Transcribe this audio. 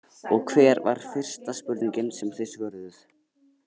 Og hver var fyrsta spurningin sem þið svöruðuð?